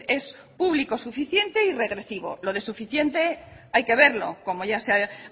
es público suficiente y regresivo lo de suficiente hay que verlo como ya se ha